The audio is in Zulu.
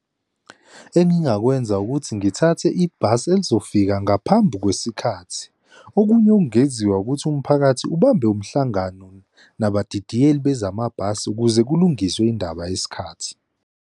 Engingakwenza ukuthi ngithathe ibhasi elizofika ngaphambi kwesikhathi. Okunye okungenziwa ukuthi umphakathi ubambe umhlangano nabadidiyela bezamabhasi ukuze kulungiswe indaba yesikhathi.